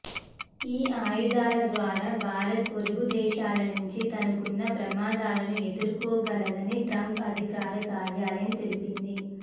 ఈ ఆయుధాల ద్వారా భారత్ పొరుగు దేశాల నుంచి తనకున్న ప్రమాదాలను ఎదుర్కోగలదని ట్రంప్ అధికార కార్యాలయం తెలిపింది